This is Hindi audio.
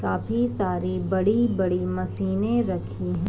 काफी सारी बड़ी-बड़ी मशीने रखी हैं।